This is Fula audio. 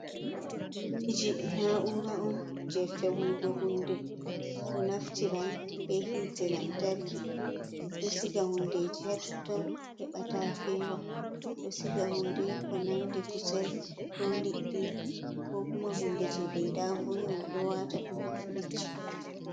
Firiji na'ura on je feunugo hunde. Ɗo naftira bee hiite lantarki. Ɗo siga hundeji haa totton, heɓa taa feewa. Ɗo siga hunde ko nandi kusel ko liɗɗi ko kuma hunde je ɓe yiɗa vonna, ɓe ɗo waata ɗum haa firiji.